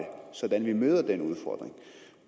sådan at vi møder den udfordring